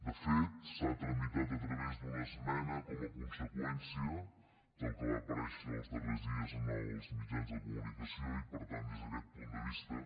de fet s’ha tramitat a través d’una esmena com a conseqüència del que va aparèixer els darrers dies en els mitjans de comunicació i per tant des d’aquest punt de vista